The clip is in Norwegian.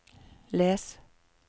les